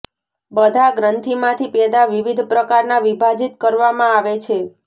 બધા ગ્રંથીમાંથી પેદા વિવિધ પ્રકારના વિભાજિત કરવામાં આવે છે